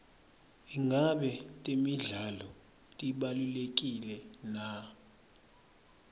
ingabe temidlalo tibalulekile na